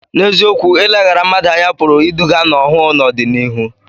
N’eziokwu, ileghara mmadụ anya pụrụ iduga n’ọhụụ n’ọdịnihu.